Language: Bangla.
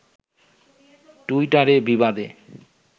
টুইটারে বিবাদে